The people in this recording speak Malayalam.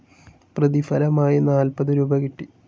പ്രതിഫലമായി നാൽപത് രൂപീ കിട്ടി.